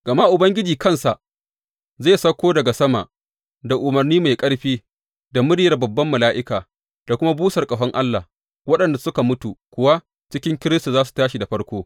Gama Ubangiji kansa zai sauko daga sama, da umarni mai ƙarfi, da muryar babban mala’ika da kuma busar ƙahon Allah, waɗanda suka mutu kuwa cikin Kiristi za su tashi da farko.